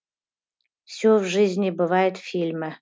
все в жизни бывает фильмі